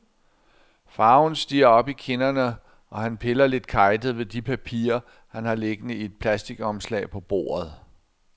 Farven stiger op i kinderne, og han piller lidt kejtet ved de papirer, han har liggende i et plastikomslag på bordet.